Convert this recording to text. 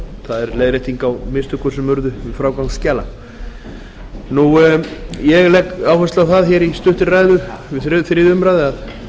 það er leiðrétting á mistökum sem urðu við frágang skjala ég legg áherslu á það í stuttri ræðu við þriðju umræðu að